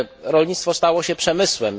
Rolnictwo stało się przemysłem.